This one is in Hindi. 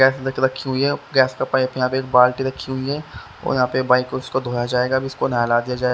गैस रखी हुई है गैस का पाइप यहाँ पे एक बाल्टी रखी हुई है और यहाँ पे बाइक को इसको धोया जाएगा अब इसको नहला दिया जाएगा--